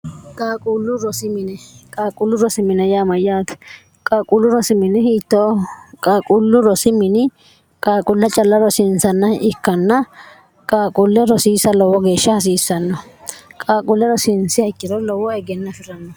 qqaaquullu rosimine yaamayyaati qquullu rosimini ht qaaquullu rosi mini qaaquulla calla rosiinsanna ikkanna qaaquulle rosiisa lowo geeshsha hasiissanno qaaquulle rosiinsih ikkiro lowo egenna afi'ranno